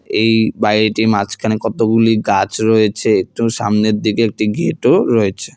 এই বাড়িটি মাঝখানে কতগুলি গাছ রয়েছে একটু সামনের দিকে একটি ঘেট -ও রয়েছে।